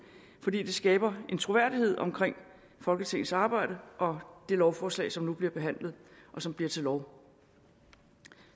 det skaber en troværdighed om folketingets arbejde og det lovforslag som nu bliver behandlet og som bliver til lov